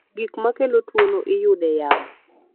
Gik makelo tuwo no iyude yamo